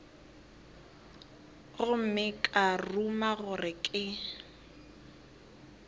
gomme ka ruma gore ke